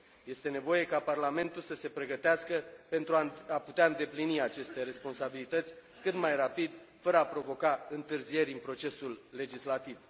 Este nevoie ca Parlamentul să se pregătească pentru a putea îndeplini aceste responsabilități cât mai rapid, fără a provoca întârzieri în procesul legislativ.